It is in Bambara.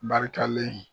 Barikalen